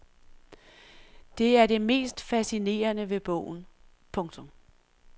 Det er det mest fascinerende ved bogen. punktum